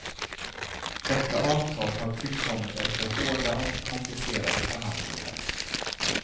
Detta avtal har tillkommit efter hårda och komplicerade förhandlingar.